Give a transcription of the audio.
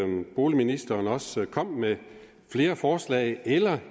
boligministeren også kom med flere forslag eller